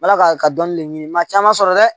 Ala ka dɔnni de ɲini maa caman sɔrɔ dɛ